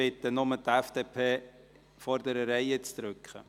Ich bitte nur die vorderen Reihen der FDP, den Knopf zu drücken.